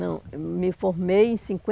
Não, eu me formei em